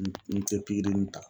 N n tɛ pikirini ta